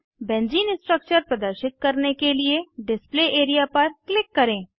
benzene structure प्रदर्शित करने के लिए डिस्प्ले एरिया पर क्लिक करें